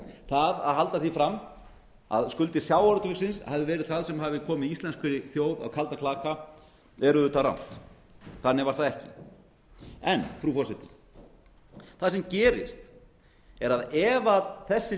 það að halda því fram að skuldir sjávarútvegsins hafi verið það sem hafi komið íslenskri þjóð á kaldan klaka er auðvitað rangt þannig var það ekki en frú forseti það sem gerist er að ef þessi